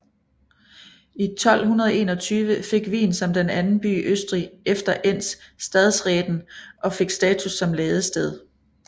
I 1221 fik Wien som den anden by i Østrig efter Enns stadsreten og fik status som ladested